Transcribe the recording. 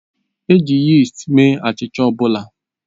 E ji yist mee achịcha ọ bụla